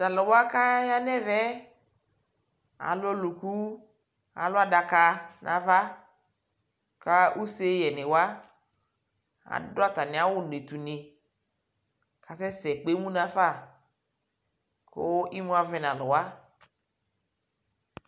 Tʋ alʋ wa kʋ aya nʋ ɛvɛ yɛ, alʋ ɔlʋku, alʋ adaka nʋ ava ka useyɛnɩ wa adʋ atamɩ awʋnɩ tʋnɩ kʋ asɛsɛ kpe emu nafa kʋ imu avɛ nʋ alʋ wa